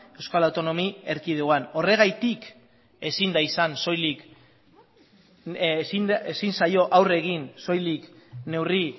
euskal autonomi erkidegoan horregatik ezin zaio aurre egin soilik neurri